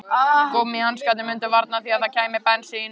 Gúmmíhanskarnir mundu varna því að það kæmi bensín